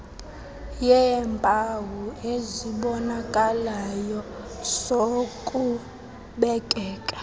yeempawu ezibonakalayo zokubekeka